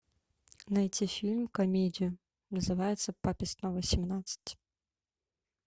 найти фильм комедию называется папе снова семнадцать